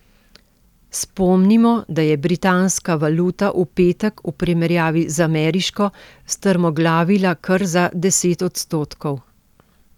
Spomnimo, da je britanska valuta v petek v primerjavi z ameriško strmoglavila kar za deset odstotkov.